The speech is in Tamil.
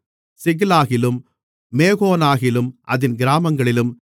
சிக்லாகிலும் மேகோனாகிலும் அதின் கிராமங்களிலும்